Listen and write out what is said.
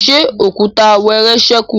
ṣe Òkúta wẹẹrẹ sẹku?